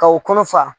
Ka o kɔnɔ fa